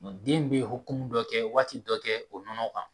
Den be hokumu dɔ kɛ waati dɔ kɛ o nɔnɔ kan.